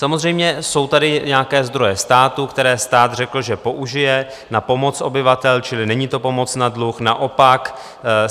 Samozřejmě jsou tady nějaké zdroje státu, které stát řekl, že použije na pomoc obyvatelům, čili není to pomoc na dluh, naopak.